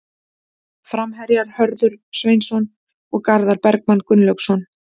Framherjar: Hörður Sveinsson og Garðar Bergmann Gunnlaugsson.